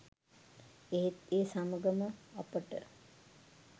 එහෙත් ඒ සමඟ ම අපට